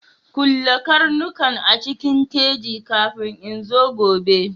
Kulle karnukan a cikin keji kafin in zo gobe!